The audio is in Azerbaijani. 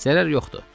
Zərər yoxdur.